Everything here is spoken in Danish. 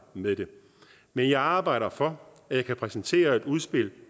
med det men jeg arbejder for at kunne præsentere et udspil